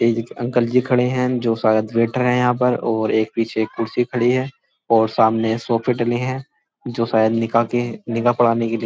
एक अंकल जी खड़े हैं जो शायद वेटर हैं यहाँ पर और एक पीछे कुर्सी खड़ी है और सामने सोफे डले हैं जो शायद निकाह के निकाह पढ़ाने के लिए --